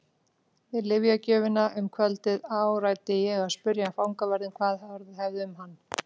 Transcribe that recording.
Við lyfjagjöfina um kvöldið áræddi ég að spyrja fangavörðinn hvað orðið hefði um hann.